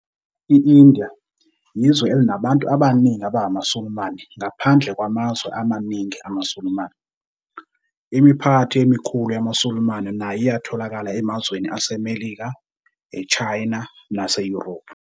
I-India yizwe elinabantu abaningi abangamaSulumane ngaphandle kwamazwe amaningi amaSulumane. Imiphakathi emikhulu yamaSulumane nayo iyatholakala emazweni aseMelika, eChina naseYurophu.